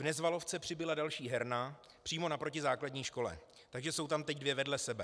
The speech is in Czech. V Nezvalovce přibyla další herna přímo naproti základní škole, takže jsou tam teď dvě vedle sebe.